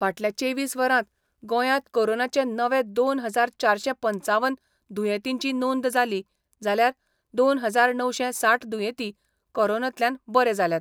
फाटल्या चेवीस वरांत गोंयात कोरोनाचे नवे दोन हजार चारशे पंचावन दुयेंतींची नोंद जाली जाल्यार दोन हजार णवशे साठ दुयेंती कोरोनांतल्यान बरे जाल्यात.